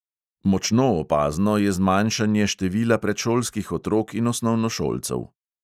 Močno opazno je zmanjšanje števila predšolskih otrok in osnovnošolcev.